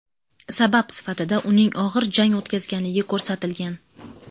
Sabab sifatida uning og‘ir jang o‘tkazganligi ko‘rsatilgan.